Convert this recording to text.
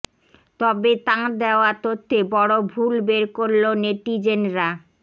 তবে তাঁর দেওয়া তথ্যে বড় ভুল বের করল নেটিজেনরা